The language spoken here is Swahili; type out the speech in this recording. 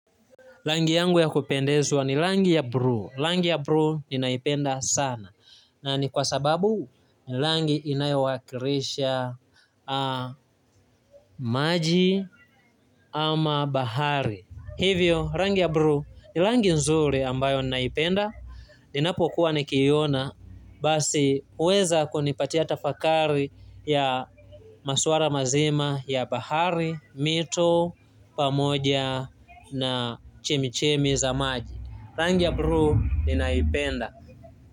Rangi yangu ya kupendezwa ni rangi ya bluu rangi ya bluu ninaipenda sana ni kwa sababu ni rangi inayowakilisha maji ama bahari hivyo rangi ya bluu ni rangi nzuri ambayo ninaipenda ninapokuwa nikiiona basi huweza kunipatia tafakari ya masuala mazima ya bahari mito pamoja na chemichemi za maji rangi ya bluu ninaipenda.